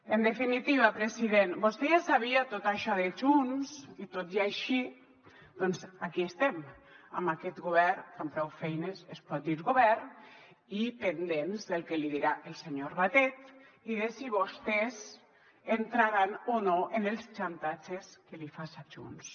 en definitiva president vostè ja sabia tot això de junts i tot i així doncs aquí estem amb aquest govern que amb prou feines es pot dir govern i pendents del que li dirà el senyor batet i de si vostès entraran o no en els xantatges que li faça junts